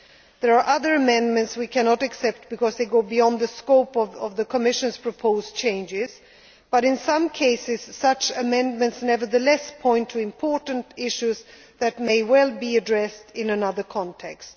of the Treaty. There are other amendments we cannot accept because they go beyond the scope of the Commission's proposed changes, but in some cases, such amendments nevertheless point to important issues that may well be addressed in another